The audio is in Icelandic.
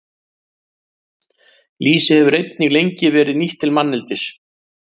Lýsi hefur einnig lengi verið nýtt til manneldis.